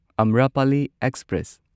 Amrapali express